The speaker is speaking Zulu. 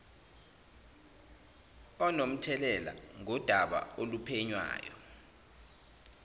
onomthelela ngodaba oluphenywayo